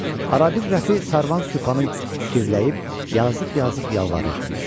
Arabir Rəfi Sarvan Süphanı girəyib yazıq-yazıq yalvarırdı.